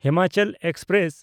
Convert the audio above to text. Himachal express